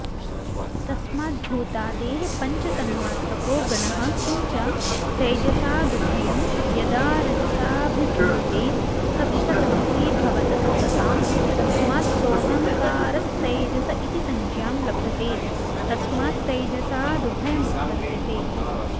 तस्माद्भूतादेः पञ्चतन्मात्रको गणः किंच तैजसादुभयं यदारजसाभिभूते सत्त्वतमसी भवतस्तदा तस्मात् सोऽहंकारस्तैजस इति संज्ञां लभते तस्मात्तैजसादुभयमुत्पद्यते